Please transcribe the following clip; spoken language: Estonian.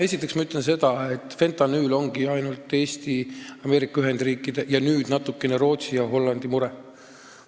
Esiteks ma ütlen, et fentanüül ongi ainult Eesti, Ameerika Ühendriikide ja natukene nüüd ka Rootsi ja Hollandi mure.